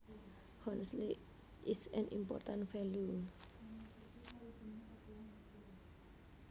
Honesty is an important value